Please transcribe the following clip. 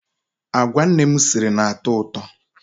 Agwa nne m siri na-atọ ụtọ.